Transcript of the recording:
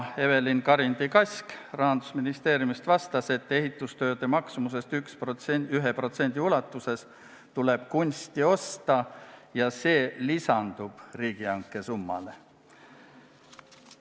Evelin Karindi-Kask Rahandusministeeriumist vastas, et kunsti tuleb osta ehitustööde maksumusest 1% ulatuses ja see lisandub riigihanke summale.